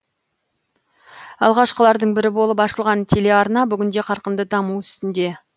алғашқылардың бірі болып ашылған телеарна бүгінде қарқынды даму үстінде